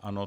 Ano.